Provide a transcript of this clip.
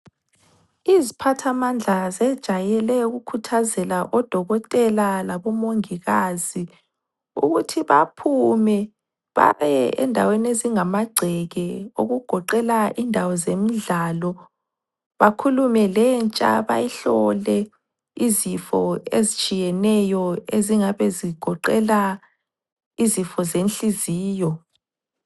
Iziphathamandla zejayele ukukhuthazela odokotela labomongikazi ukuthi baphume babe endaweni ezingamagceke, okugoqela indawo zemidlalo, bakhulume lentsha bayihlole izifo ezitshiyeneyo ezingabe zigoqela izifo zenhliziyo.